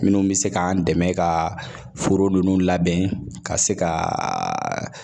Minnu bɛ se k'an dɛmɛ ka foro nunnu labɛn ka se ka